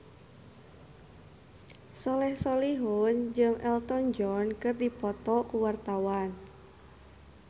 Soleh Solihun jeung Elton John keur dipoto ku wartawan